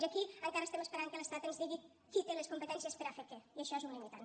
i aquí encara estem esperant que l’estat ens digui qui té les competències per a fer què i això és un limitant